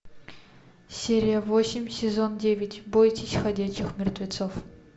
серия восемь сезон девять бойтесь ходячих мертвецов